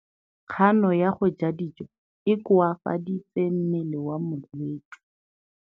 Kganô ya go ja dijo e koafaditse mmele wa molwetse.